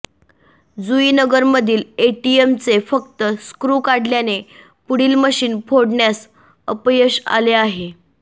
जुईनगर मधील एटीएम चे फक्त स्क्रू काढल्याने पुढील मशीन फोडण्यास अपयश आले आहे